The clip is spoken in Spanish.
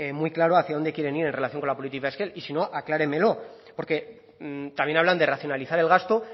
muy claro hacia dónde quieren ir en relación con la política fiscal y si no acláremelo porque también hablan de racionalizar el gasto